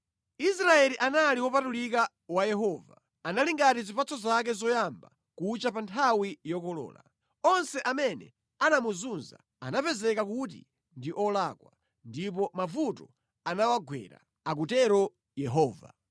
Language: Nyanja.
Israeli anali wopatulika wa Yehova, anali ngati zipatso zake zoyamba kucha pa nthawi yokolola; onse amene anamuzunza anapezeka kuti ndi olakwa ndipo mavuto anawagwera,’ ” akutero Yehova.